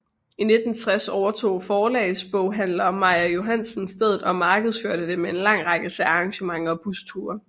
I 1960 overtog forlagsboghandler Meier Johansen stedet og markedsførte det med en lang række særarrangementer og busture